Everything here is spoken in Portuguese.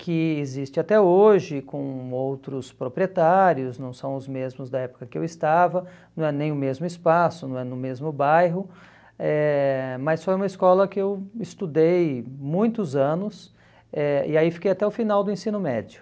que existe até hoje com outros proprietários, não são os mesmos da época que eu estava, não é nem o mesmo espaço, não é no mesmo bairro, eh mas foi uma escola que eu estudei muitos anos eh e aí fiquei até o final do ensino médio.